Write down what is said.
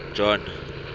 john